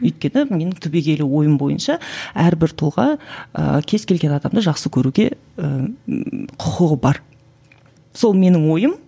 өйткені менің түбегейлі ойым бойынша әрбір тұлға ыыы кез келген адамды жақсы көруге ііі құқығы бар сол менің ойым